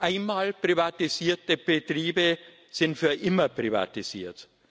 Einmal privatisierte Betriebe sind für immer privatisiert.